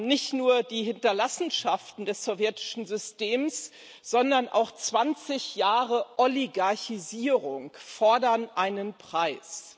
Nicht nur die Hinterlassenschaften des sowjetischen Systems, sondern auch 20 Jahre Oligarchisierung fordern einen Preis.